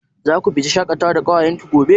Zaku fita shaƙatawa da ƙawayen ki gobe?